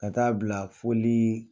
Ka taa bila folii